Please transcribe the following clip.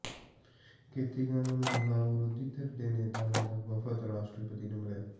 ਖੇਤੀ ਕਾਨੂੰਨਾਂ ਖ਼ਿਲਾਫ਼ ਵਿਰੋਧੀ ਧਿਰ ਦੇ ਨੇਤਾਵਾਂ ਦਾ ਵਫ਼ਦ ਰਾਸ਼ਟਰਪਤੀ ਨੂੰ ਮਿਲਿਆ